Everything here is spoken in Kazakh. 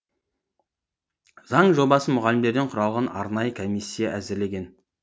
заң жобасын мұғалімдерден құралған арнайы комиссия әзірлеген